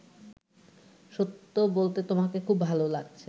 সত্য বলতে তোমাকে খুব ভালো লাগছে